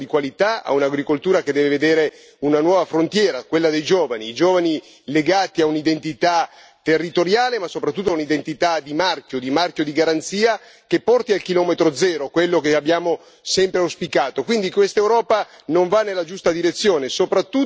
E credo che questi tagli non giovino soprattutto a un'agricoltura di qualità, a un'agricoltura che deve vedere una nuova frontiera, quella dei giovani, i giovani legati a un'identità territoriale, ma soprattutto a un'identità di marchio, di marchio di garanzia che porti al chilometro zero, quello che abbiamo sempre auspicato.